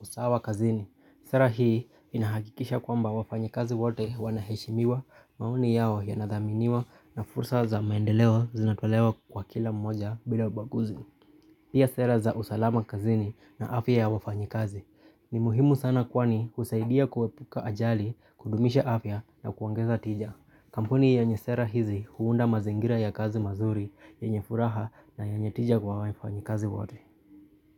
usawa kazini. Sera hii inahakikisha kwamba wafanyikazi wote wanaheshimiwa, maoni yao yanadhaminiwa na fursa za maendeleo zinatolewa kwa kila mmoja bila ubaguzi. Pia sera za usalama kazini na afya ya wafanyikazi. Ni muhimu sana kwani husaidia kuepuka ajali, kudumisha afya na kuongeza tija. Kampuni yenye sera hizi huunda mazingira ya kazi mazuri, yenye furaha na yenye tija kwa wafanyikazi wote.